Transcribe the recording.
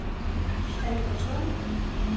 Albertslund